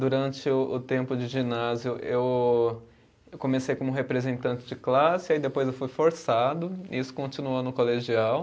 Durante o o tempo de ginásio, eu eu comecei como representante de classe, aí depois eu fui forçado, e isso continuou no colegial.